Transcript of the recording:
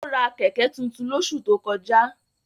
Ó ra Kẹ̀kẹ́ tuntun lóṣù tó kọjá